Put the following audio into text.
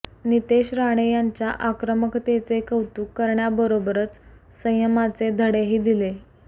नीतेश राणे यांच्या आक्रमकतेचे कौतुक करण्याबरोबरच संयमाचे धडेही दिले